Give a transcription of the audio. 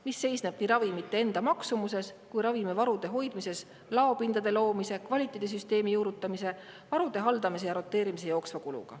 See seisneb ravimite enda maksumuses, ravimivarude hoidmise, laopindade loomise, kvaliteedisüsteemi juurutamise, varude haldamise ja roteerimise jooksvas kulus.